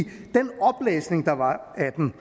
den